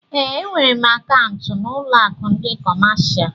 Eé, e nwèrè m akaụntu n'ụlọ akụ ndị kọmáshá